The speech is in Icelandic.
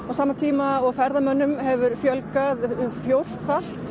á sama tíma og ferðamönnum hefur fjölgað fjórfalt